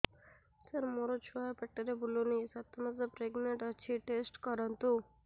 ସାର ମୋର ଛୁଆ ପେଟରେ ବୁଲୁନି ସାତ ମାସ ପ୍ରେଗନାଂଟ ଅଛି ଟେଷ୍ଟ କରନ୍ତୁ